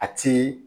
A ti